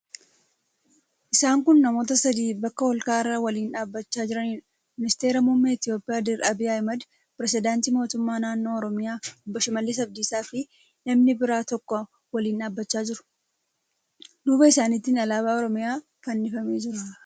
Isaan kun namoota sadii bakka ol ka'aa irra waliin dhaabbachaa jiraniidha. Ministeera muummee Itiyoophiyaa Dr. Abiy Ahmad, pirezidaantii mootummaa naannoo Oromiyaa Obbo Shimallis Abdiisaafi namni biroo tokko waliin dhaabbachaa jiru. Duuba isaaniitiin alaabaan Oromiyaa fannifamee jira.